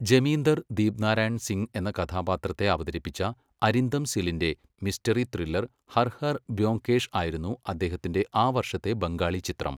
ജമീന്ദർ ദീപ്നാരായൺ സിംഗ് എന്ന കഥാപാത്രത്തെ അവതരിപ്പിച്ച അരിന്ദം സിലിന്റെ മിസ്റ്ററി ത്രില്ലർ ഹർ ഹർ ബ്യോംകേഷ് ആയിരുന്നു അദ്ദേഹത്തിന്റെ ആ വർഷത്തെ ബംഗാളി ചിത്രം.